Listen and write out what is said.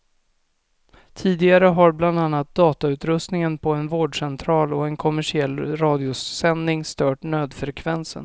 Tidigare har bland annat datautrustningen på en vårdcentral och en kommersiell radiosändning stört nödfrekvensen.